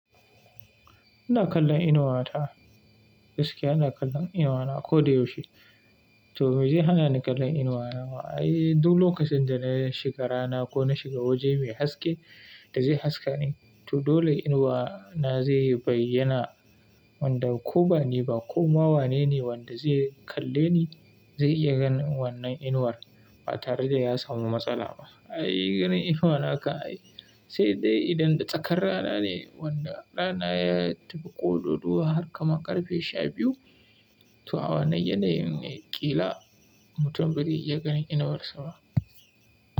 Ina kallon inuwa ta, gaskiya ina kallon inuwana ko da yaushe. To me zai hana ni kallon inuwana? Ai duk lokacin da na shiga rana ko na shiga waje mai haske da zai haska ni, to dole inuwana zai bayyana wanda ko bani ba ko ma wane ne wanda zai kalle ni zai iya ganin wannan inuwar, ba tare da ya samu matsala ba. Ai ganin inuwana haka ai, sai dai idan da tsakar rana ne wanda rana ya tafi ƙodo ruwa har kama ƙarfe sha biyu, to awanni yana yin ƙila mutum ba zai ya ganin inuwarsa ba.